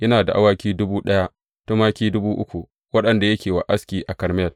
Yana da awaki dubu ɗaya, da tumaki dubu uku waɗanda yake wa aski a Karmel.